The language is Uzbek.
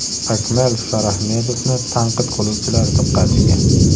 Akmal Shorahmedovni tanqid qiluvchilar diqqatiga.